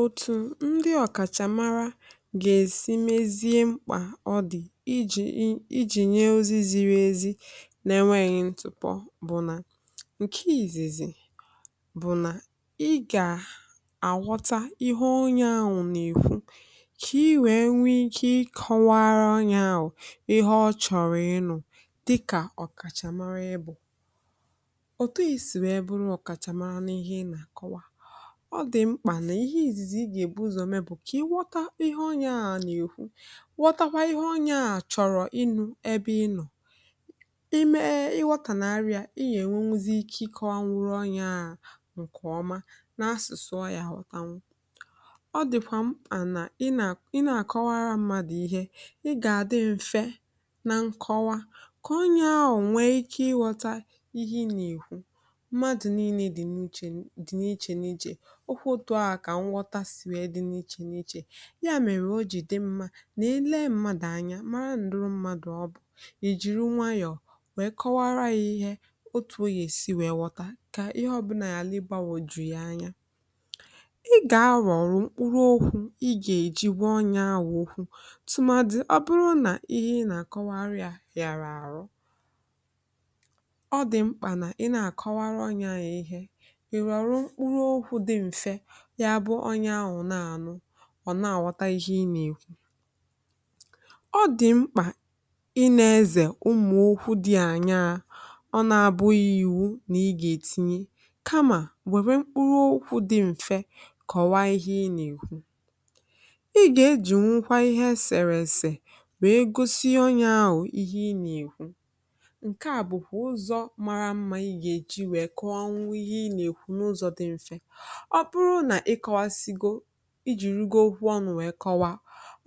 òtù ndị ọ̀kàchàmara gà-èsi mezie mkpà ọ dị̀ ijì nye ozi ziri ezi n’enweghị ntụpọ bụ nà, ǹkè ìzìzì bụ̀ nà ị gà-àghọta ihe onye anwụ̇ nà ìkwu, kà i wèe nwee kà ị kọ̀waara onye anwụ̇ ihe ọ chọ̀rọ̀ ịnụ̇ dịkà ọ̀kàchàmara ị bụ̀. ọ dị̀ mkpà nà ihe ìzìzì ị gà-èbu ụzọ̇ me bù kà i wọta ihe onye ahụ̀ nà-èkwu, wọtakwa ihe onye ahụ̀ chọrọ ịnụ̇ ebe ịnọ̀. i mee ị wọtà nà arịà i nà-ènwe nwuzi ike ịkọ̇nwuru onye ahụ̀, um ǹkèọma nà-asụ̀sụọ yȧ họta nwụ. ọ dị̀kwà mma nà ị nà-àkọwara mmadụ̀ ihe, ị gà-adị mfe na nkọwa kà onye ahụ̀ nwee ike ịghọta ihe ị nà-èkwu. okwu otu̇ a kà nghọta sì wèe dị n’ichè n’ichè, ya mèrè o jì dị mmȧ na-ele mmadụ̀ anya, mara ǹdụrụ mmadụ̀, ọ bụ ì jìri nwayọ̀ mà kọwara yȧ ihė. otù ogè si wèe ghọta, kà ihe ọbụla yàla ịgbȧwọ̀ jùyi anya, ị gà-arọ̀rọ̀ mkpụrụ okwu̇, ị gà-èjigwe onyȧ awụ̇ ukwu̇. tùmàdị̀, ọ bụrụ nà ihe ị nà-àkọwarịà yàrà àrụ, ọ dị̀ mkpà nà ị nà-àkọwarị ọnyȧ ihė, ya bụ onye ahụ̀ na-ànụ, ọ̀ na-àwọta ihe ị nà-èkwu. ọ dị̀ mkpà ị na-ezè ụmụ̀ okwu dị ànyarȧ. ọ na-abụghị ìwu nà ị gà-ètinye, kamà wèrè mkpụrụ okwu dị m̀fe kọ̀wa ihe ị nà-èkwu. ị gà-ejì nwukwa ihe esèrè èsè wèe gosi onye ahụ̀ ihe ị nà-èkwu. ǹke à bụ̀kwà ụzọ̇ mara mmȧ, ị gà-èji wèe kọọ ọnwụ ihe ị nà-èkwu n’ụzọ̇ dị m̀fe. ọ bụrụ nà i kọwàsigo, i jì rigoo onu̇ wèe kọwaa,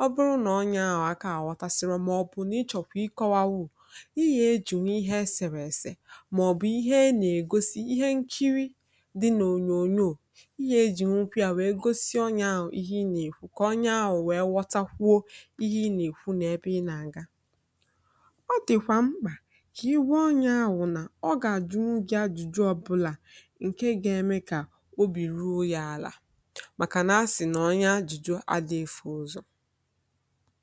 ọ bụrụ nà onye ahụ̀ akȧ àghọtasìrì màọbụ̀ na-ịchọ̀kwà ịkọ̇wȧ, wụ̀ ihė ejì n’ihe esèrèsè màọbụ̀ ihe a nà-ègosi ihe nkiri dị̇ n’ònyòò. ihe ejì nwukwu à wèe gosi onye ahụ̀ ihe ị nà-èkwu, kà onye ahụ̀ wèe wọtakwuo ihe ị nà-èkwu nà ebe ị nà-àga. ọ dị̀kwà mkpà kà i wu onye ahụ̀ nà ọ gà àjụnụ gị ajụjụ ọbụlà, màkà na-asị nà onye ajụjụ adị̇efù ụzọ̀.